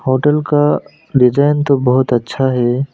Hotel का design तो बहुत अच्छा है।